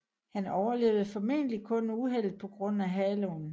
Han overlevede formentlig kun uheldet på grund af haloen